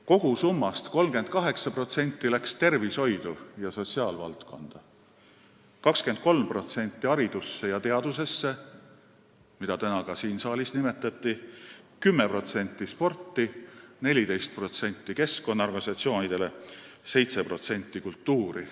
Kogusummast 38% läks tervishoidu ja sotsiaalvaldkonda, 23% haridusse ja teadusse, mida ka täna siin saalis nimetati, 10% sporti, 14% keskkonnaorganisatsioonidele ja 7% kultuuri.